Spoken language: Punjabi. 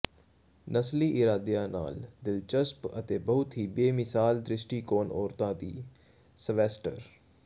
ਨਸਲੀ ਇਰਾਦਿਆਂ ਨਾਲ ਦਿਲਚਸਪ ਅਤੇ ਬਹੁਤ ਹੀ ਬੇਮਿਸਾਲ ਦ੍ਰਿਸ਼ਟੀਕੋਣ ਔਰਤਾਂ ਦੀ ਸਵੈਸਟਰ